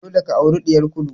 Dole ka aure ɗiyar Kulu!